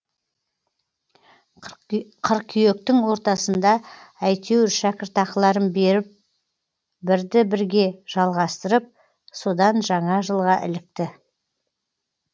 қыркүйектің ортасында әйтеуір шәкіртақыларын беріп бірді бірге жалғастырып содан жаңа жылға ілікті